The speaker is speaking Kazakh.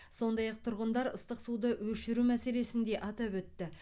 сондай ақ тұрғындар ыстық суды өшіру мәселесін де атап өтті